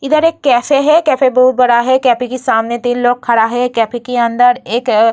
इधर एक कैफे हैं कैफे बहुत बड़ा है कैफे के सामने तीन लोग खड़ा है कैफे की अंदर एक --